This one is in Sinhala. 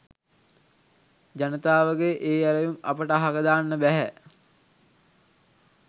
ජනතාවගේ ඒ ඇරයුම් අපට අහක දාන්න බැහැ.